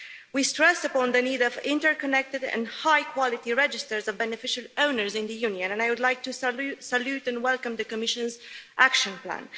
We stressed the need for interconnected and high-quality registers of beneficial owners in the Union and I would like to salute and welcome the Commission's action plan.